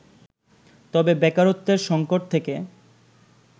তবে বেকারত্বের সংকট থেকে